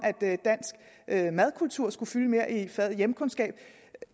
at dansk madkultur skulle fylde mere i faget hjemkundskab